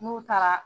N'u taara